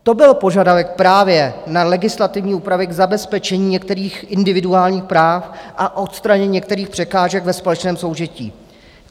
To byl požadavek právě na legislativní úpravy k zabezpečení některých individuálních práv a odstranění některých překážek ve společném soužití.